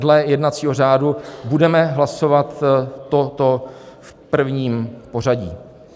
Dle jednacího řádu budeme hlasovat toto v prvním pořadí.